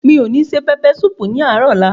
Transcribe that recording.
Mi ò ní se pẹpẹ súùpù ní àárò ọ̀la.